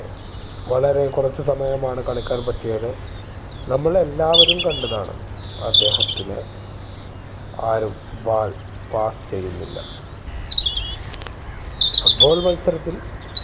വളരെ കുറച്ചു സമയമാണ് കളിക്കാൻ പറ്റിയത് നമ്മൾ എല്ലാവരും കണ്ടതാണ് അദ്ദേഹത്തിന് ആരും ball pass ചെയ്യുന്നില്ല foot ball മത്സരത്തിൽ